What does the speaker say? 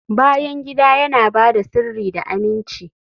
bayan gida yana ba da sirri da aminci